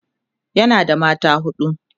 yana da mata huɗu